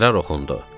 Qərar oxundu.